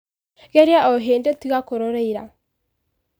Ngeria o hĩndĩ tiga kũrora ira.